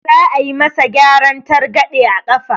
Za a yi ma sa gyaran targaɗe a ƙafa